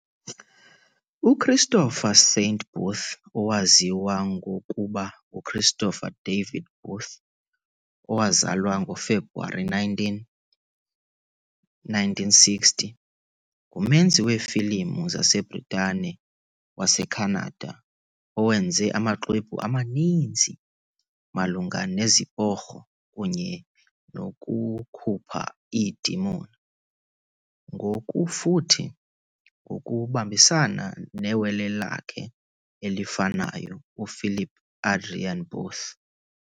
UChristopher Saint Booth, owaziwa ngokuba nguChristopher David Booth, owazalwa ngoFebruwari 19, 1960, ngumenzi wefilimu waseBritane-waseKhanada owenze amaxwebhu amaninzi malunga neziporho kunye nokukhupha iidemon, ngokufuthi ngokubambisana newele lakhe elifanayo, uPhilip Adrian Booth.